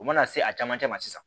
U mana se a camancɛ ma sisan